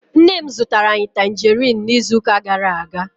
Nne m zụtara anyị tanjeriin n'izuụka gara-aga.